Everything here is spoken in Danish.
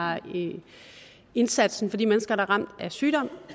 indsatsen for de mennesker der er ramt af sygdom